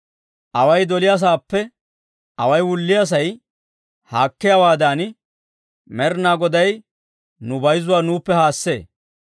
Away doliyaasaappe away wulliyaasay haakkiyaawaadan, Med'inaa Goday nu bayzzuwaa nuuppe haassee.